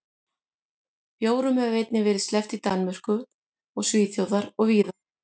Bjórum hefur einnig verið sleppt í Danmörku og Svíþjóð og víðar.